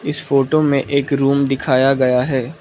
इस फोटो में एक रूम दिखाया गया है।